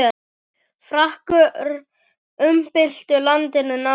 Frakkar umbyltu landinu nánast.